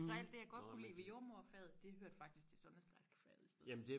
Så alt det jeg godt kunne lide ved jordemoderfaget det hørte faktisk til sundhedsplejerskefaget i stedet for